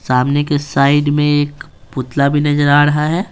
सामने के साइड में एक पुतला भी नजर आ रहा है।